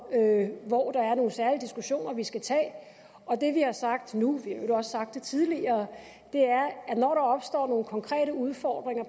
hvor der er nogle særlige diskussioner vi skal tage og det vi har sagt nu vi øvrigt også sagt det tidligere er at når der opstår nogle konkrete udfordringer